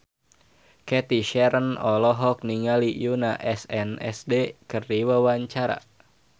Cathy Sharon olohok ningali Yoona SNSD keur diwawancara